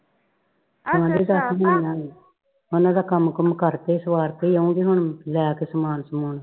ਉਹਨਾਂ ਦਾ ਕੰਮ ਕੁਮ ਕਰਕੇ ਸਵਾਰ ਕੇ ਹੀ ਆਊਗੀ ਹੁਣ ਲੈਕੇ ਸਮਾਨ ਸਮੂਨ।